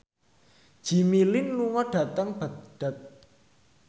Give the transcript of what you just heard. Jimmy Lin lunga dhateng Baghdad